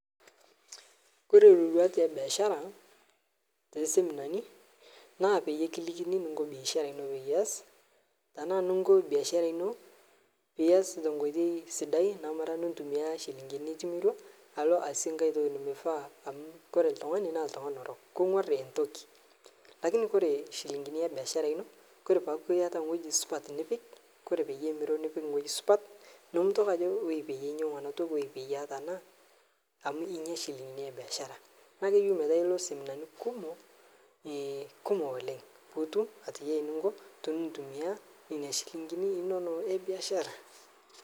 Ore iroruat e biashara too seminani naa peyie kilikini eninko biashara ino peyie ashu eninko biashara ino pee ias tenkoitoi sidai nimoturraa nchilingini nitimirua alo aasie enkae toki nemenare amu ore oltungani naa kenguar entoki. Kake ore nchilingini e biashara ino teniaku iata ewueji supati nepik ore pee imiru nipik ine wueji pee minya iropiyiani e biashara neaku kenare nilo seminani kumok oleng pee itumoki atayiolo ininko pee intumia nena ropiyiani inonok e biashara.